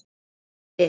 Pétur brosir við.